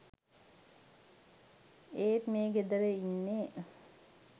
ඒත් මේ ගෙදර ඉන්නේ